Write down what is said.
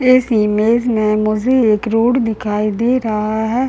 इस इमेज मे मुझे एक रोड दिखाई दे रहा है ।